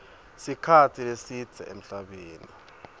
sikhatsi lesidze emhlabeni